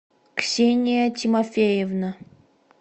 ксения тимофеевна